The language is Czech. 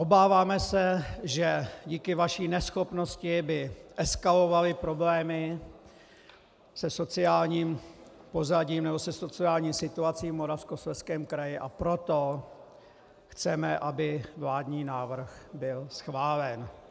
Obáváme se, že díky vaší neschopnosti by eskalovaly problémy se sociálním pozadím nebo se sociální situací v Moravskoslezském kraji, a proto chceme, aby vládní návrh byl schválen.